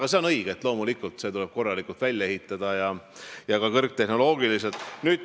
Õige on see, et loomulikult tuleb see korralikult ja ka kõrgtehnoloogiliselt välja ehitada.